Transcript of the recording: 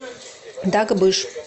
дагбыш